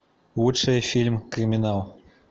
лучший фильм криминал